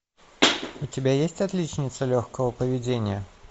у тебя есть отличница легкого поведения